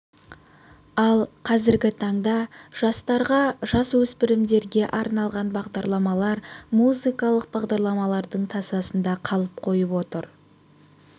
ал қазіргі таңда жастарға жасөспірімдерге арналған бағдарламалар музыкалық бағдарламалардың тасасында қалып қойып отыр